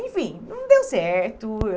Enfim, não deu certo.